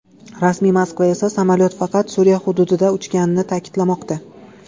Rasmiy Moskva esa samolyot faqat Suriya hududida uchganini ta’kidlamoqda.